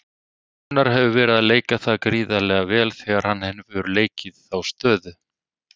Gunnar hefur verið að leika það gríðarlega vel þegar hann hefur leikið þá stöðu.